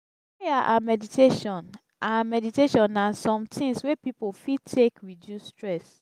prayer and meditation and meditation na some things wey pipo fit take reduce stress